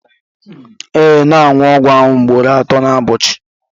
ee, na-aṅụ ọgwụ ahụ ugboro atọ n'ụbọchị